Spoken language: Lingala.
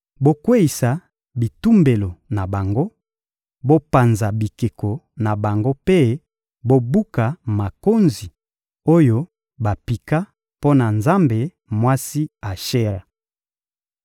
Bokweyisa bitumbelo na bango, bopanza bikeko na bango mpe bobuka makonzi oyo bapika mpo na nzambe mwasi Ashera.